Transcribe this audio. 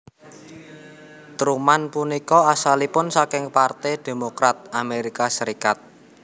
Truman punika asalipun saking Parte Demokrat Amerika Serikat